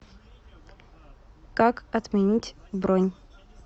как отменить бронь